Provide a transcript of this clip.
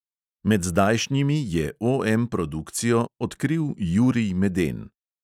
Med zdajšnjimi je OM produkcijo "odkril" jurij meden.